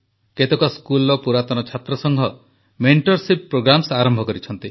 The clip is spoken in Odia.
କେତେକ ସ୍କୁଲର ପୁରାତନ ଛାତ୍ରସଂଘ ମେଣ୍ଟରସିପ୍ ପ୍ରୋଗ୍ରାମ୍ସ ଆରମ୍ଭ କରିଛନ୍ତି